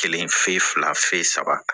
Kelen fe fila saba